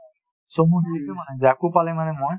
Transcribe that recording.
পালে মানে মই ,